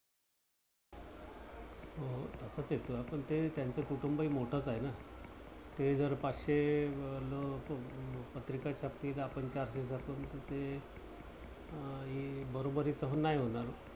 असं कस आपण ते तरी त्याचं कुटुंबही मोठच आहे ना. ते जर पाचशे लोक अं पत्रिका छापतील आपण चारशे छापलं तर ते बरोबरीच नाही होणार.